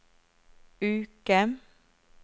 uke